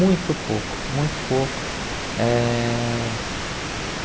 Muito pouco, muito pouco. Eh